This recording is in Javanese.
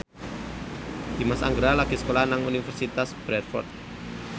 Dimas Anggara lagi sekolah nang Universitas Bradford